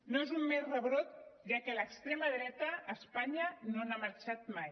no és un mer rebrot ja que l’extrema dreta d’espanya no n’ha marxat mai